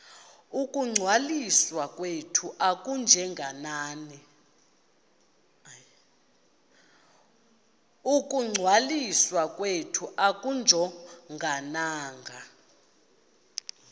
ukungcwaliswa kwethu akujongananga